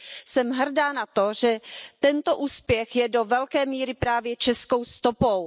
Jsem hrdá na to, že tento úspěch je do velké míry právě českou stopou.